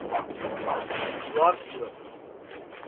dwarsloop